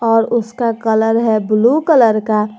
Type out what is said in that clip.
और उसका कलर है ब्लू कलर का।